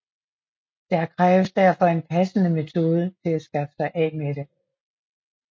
Der kræves derfor en passende metode til at skaffe sig af med det